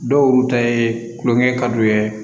Dɔw ta ye kulonkɛ kad'u ye